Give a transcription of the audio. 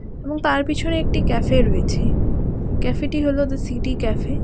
এবং তার পেছনে একটি ক্যাফে রয়েছে ক্যাফেটি হল দ্যা সিটি ক্যাফে ।